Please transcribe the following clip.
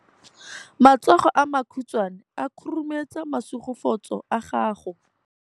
Matsogo a makhutshwane a khurumetsa masufutsogo a gago.